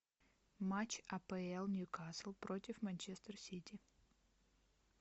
матч апл ньюкасл против манчестер сити